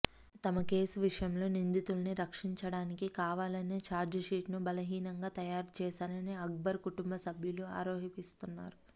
తమ కేసు విషయంలో నిందితుల్ని రక్షించడానికి కావాలనే చార్జ్ షీట్ను బలహీనంగా తయారు చేశారని రక్బర్ కుటుంబ సభ్యులు ఆరోపిస్తున్నారు